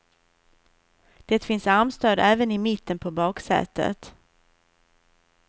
Det finns armstöd även i mitten på baksätet.